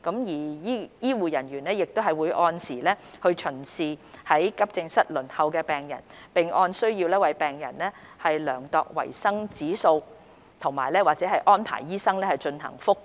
醫護人員亦會按時巡視於急症室輪候的病人，並按需要為病人量度維生指數或安排醫生進行覆檢。